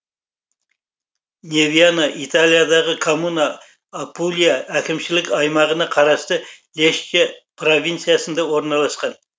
невьяно италиядағы коммуна апулия әкімшілік аймағына қарасты лечче провинциясында орналасқан